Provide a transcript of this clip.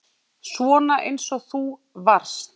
Svona eins og þú varst.